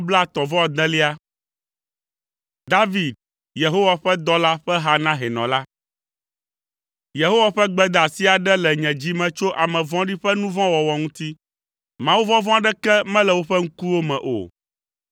David, Yehowa ƒe dɔla, ƒe ha na hɛnɔ la. Yehowa ƒe gbedeasi aɖe le nye dzi me tso ame vɔ̃ɖi ƒe nu vɔ̃ wɔwɔ ŋuti. Mawuvɔvɔ̃ aɖeke mele woƒe ŋkuwo me o.